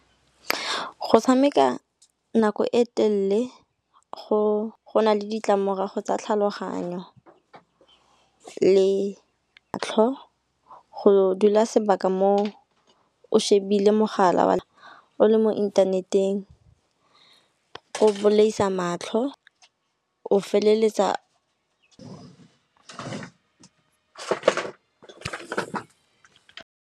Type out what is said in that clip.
Go tshameka nako e telele go na le ditlamorago tsa tlhaloganyo le tlhogo go dula sebaka mo o shebile mogala o le mo inthaneteng. O bolaisa matlho o feleletsa .